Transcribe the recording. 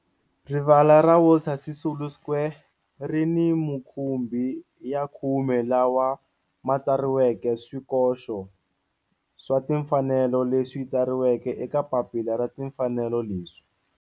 Rivala ra Walter Sisulu Square ri ni mukhumbi ya khume lawa ma tsariweke swikoxo swa timfanelo leswi tsariweke eka papila ra timfanelo leswi.